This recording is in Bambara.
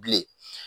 Bilen